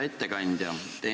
Hea ettekandja!